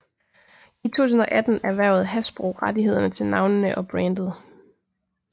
I 2018 erhvervede Hasbro rettighederne til navnene og brandet